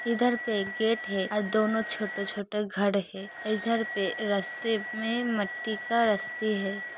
इधर पे गेट है अ दोनों छोटे-छोटे घर है। ईधर पे रास्ते में मट्टी का रस्ते है।